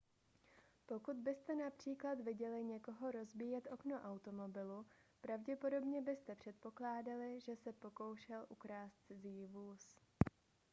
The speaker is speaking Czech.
pokud byste například viděli někoho rozbíjet okno automobilu pravděpodobně byste předpokládali že se pokoušel ukrást cizí vůz